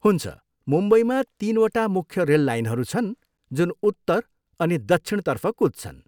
हुन्छ, मुम्बईमा तिनवटा मुख्य रेल लाइनहरू छन् जुन उत्तर अनि दक्षिणतर्फ कुद्छन्।